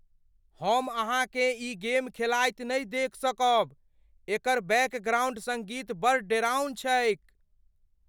हम अहाँकेँ ई गेम खेलाइत नहि देखि सकब। एकर बैकग्राउन्ड सङ्गीत बड़ डेराउन छैक।